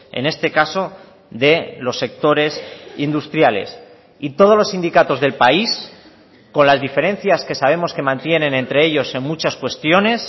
en este caso de los sectores industriales y todos los sindicatos del país con las diferencias que sabemos que mantienen entre ellos en muchas cuestiones